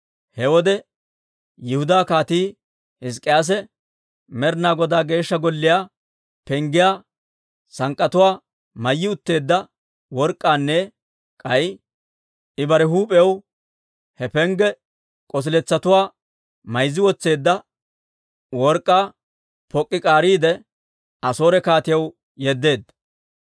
He wode Yihudaa Kaatii Hizk'k'iyaase Med'ina Godaa Geeshsha Golliyaa penggiyaa sank'k'atuwaa mayyi utteedda work'k'aanne k'ay I bare huup'iyaw he pengge k'osiletsatuwaa mayzzi wotseedda work'k'aa pok'k'i k'aariide, Asoore kaatiyaw yeddeedda.